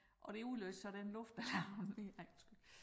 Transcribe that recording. Og det udløste så den luftalarm det ej undskyld